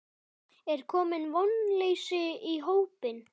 Er komið vonleysi í hópinn?